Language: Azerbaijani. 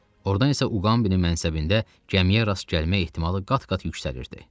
Ordan isə Uqambinin mənsəbində gəmiyə rast gəlmə ehtimalı qat-qat yüksəlirdi.